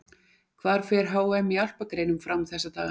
Hvar fer HM í alpagreinum fram þessa dagana?